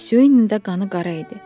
Siyunun də qanı qara idi.